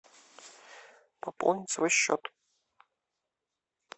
пополнить свой счет